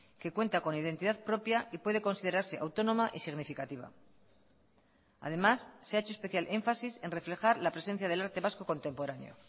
que cuenta con identidad propia y puede considerarse autónoma y significativa además se ha hecho especial énfasis en reflejar la presencia del arte vasco contemporáneo